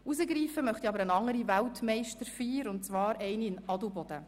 Herausgreifen möchte ich aber eine andere Weltmeisterfeier, und zwar eine in Adelboden.